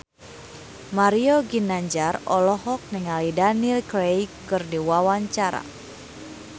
Mario Ginanjar olohok ningali Daniel Craig keur diwawancara